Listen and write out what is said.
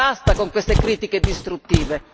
Basta con queste critiche distruttive!